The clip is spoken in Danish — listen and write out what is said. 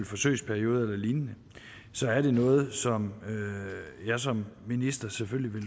forsøgsperioder eller lignende så er det noget som jeg som minister selvfølgelig vil